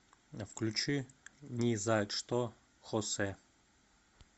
включи ни за что хосе